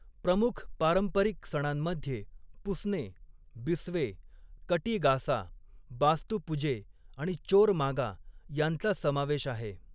प्रमुख पारंपरिक सणांमध्ये पुस्ने, बिस्वे, कटी गासा, बास्तु पुजे आणि चोर मागा यांचा समावेश आहे.